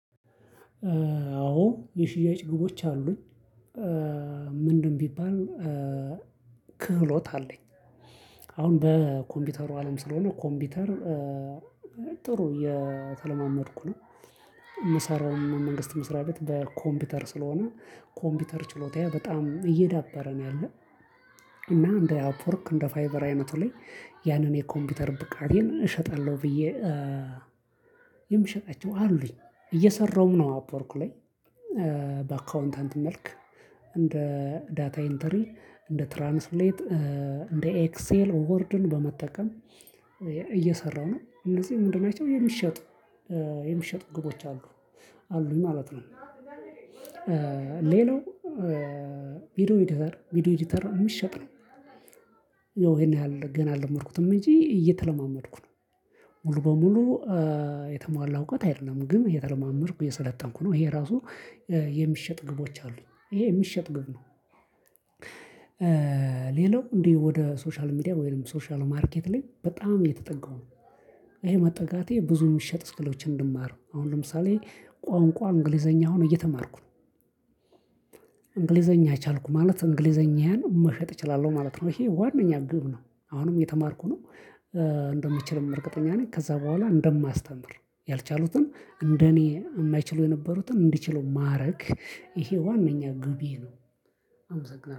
አዎ የሽያጭ ግቦች አሉኝ። ምንድን ቢባል ክህሎት አለኝ። አሁን በኮምፒውተሩ አለም ስለሆነ፤ ኮምፒውተር ጥሩ እየተለማመድኩ ነው። የምሰራው የመንግስት መስርያ ቤት በኮምፒውተር ስለሆነ፤ ኮምፒውተር ችሎታዬ በጣም እየዳበረ ነው ያለው። እና እንደ አፕወርክ፣ እንደ ፋይቨር አይነቱ ላይ ያለኝን የኮምፒውተር ብቃቴን እሸጣለሁ ብዬ የምሸጣቸው አሉኝ። እየሰራሁም ነው አፖርኩ ላይ። በአካውንታንት መልክ እንደ ዳታ ኢንተሪ፤ እንደ ትራንስሌት፤ እንደ ኤክሴል፤ ወርድን በመጠቀም እየሰራሁ ነው። እነዚህ ምንድን ናቸው? የሚሸጡ የሚሸጡ ግቦች አሉ። አሉኝ ማለት ነው። ሌላው ቪዲዮ ኤዲተር ቪዲዮ ኤዲተር የሚሸጥ ነው። ይሄን ገና አለመድኩትም እንጂ እየተለማመድኩ ነው። ሙሉ በሙሉ የተሟላ እውቀት አይደለም፤ ግን እየተለማመድኩ እየሰለጠንኩ ነው። ይሄ ራሱ የሚሸጥ ግቦች አሉ። ይሄ የሚሸጥ ግብ ነው። ሌላው እንዴ ወደ ሶሻል ሚዲያ፣ ወይም ሶሻል ማርኬት ላይ በጣም እየተጠጋው ነው። ይሄ መጠጋቴ ብዙ የሚሸጥ ስኪሎችን እንድማረ ነው አሁን ለምሳሌ ቋንቋ እንግሊዘኛ አሁን እየተማርኩ ነው። እንግሊዘኛ ቻልኩ ማለት እንግሊዘኛን መሸጥ እችላለሁ ማለት ነው። ይሄ ዋናው ግብ ነው። አሁንም እየተማርኩ ነው። እንደምችልም እርግጠኛ ነኝ! ከዛ በኋላ እንደማስተምር፤ ያልቻሉትን እንደኔ የማይችሉ የነበሩትን እንዲችሉ ማድረግ ይሄ ዋናኛ ግቤ ነው።